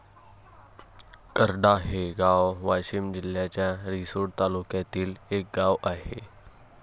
करडा हे गाव वाशीम जिल्ह्याच्या रिसोड तालुक्यातील एक गाव आहे.